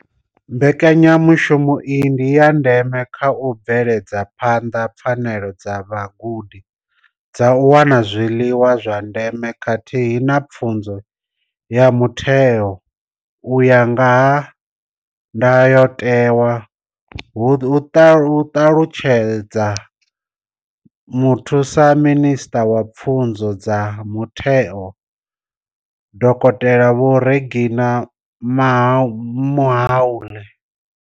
Mbekanya mushumo iyi ndi ya ndeme kha u bveledza phanḓa pfanelo dza vhagudi dza u wana zwiḽiwa zwa ndeme khathihi na pfunzo ya mutheo u ya nga ndayotewa, hu ṱalutshedza Muthusaminisṱa wa Pfunzo dza Mutheo, Dokotela Vho Reginah Mhaule.